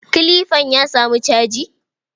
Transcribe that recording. Kilifan ya samu caji?